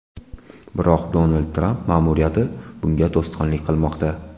Biroq Donald Tramp ma’muriyati bunga to‘sqinlik qilmoqda.